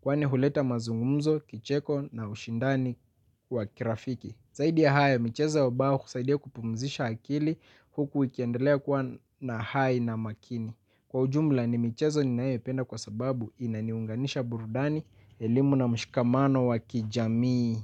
kwani huleta mazungumzo, kicheko na ushindani wa kirafiki. Zaidi ya hayo, michezo ya ubao husaidia kupumzisha akili huku ikiendelea kuwa na hai na makini. Kwa ujumla ni michezo ninayoipenda kwa sababu inaniunganisha burudani, elimu na mshikamano wa kijamii.